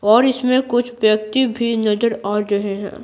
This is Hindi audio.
और इसमें कुछ व्यक्ति भी नजर आ रहे हैं।